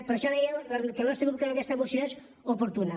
per això deia que el nostre grup creu que aquesta moció és oportuna